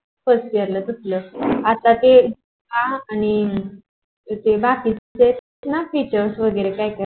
first year ला भेटल आणि आता ते आ आणि ते बाकीच test ना टीचार वेगेरे